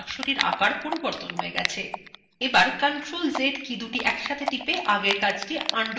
এখন ctrl + z কীদুটি একসাথে টিপে আগের কাজটি আনডুকরা যাক